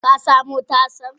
Ka samo tasan?